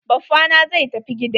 Baffa na zai tafi gida.